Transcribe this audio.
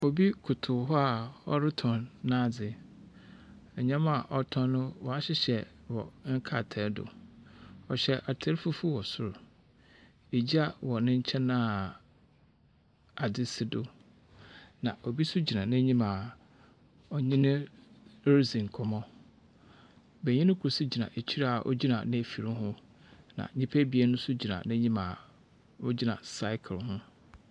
Obi koto hɔ a ɔretɔn n'adze. Nnyama a ɔrotɔn no wɔahyehyɛ no wɔ nkratae do. Ɔhyɛ atar fufuw wɔ sor. Egya wɔ ne nkyɛn a ade si do, na obi nso gyina n'enyim a ɔne no ridzi nkɔmbɔ. Benyini kor nso gyina ekyir a ogyina n'efir ho, na nyimpa ebien nso gyina n'enyim a wogyina cycle ho.